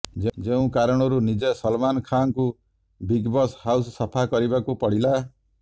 ଯେଉଁ କାରଣରୁ ନିଜେ ସଲମାନ ଖାନଙ୍କୁ ବିଗବସ ହାଉସ ସଫା କରିବାକୁ ପଡିଲା